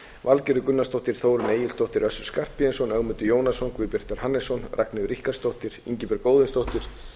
valgerður gunnarsdóttir þórunn egilsdóttir össur skarphéðinsson ögmundur jónasson guðbjartur hannesson ragnheiður ríkharðsdóttir ingibjörg óðinsdóttir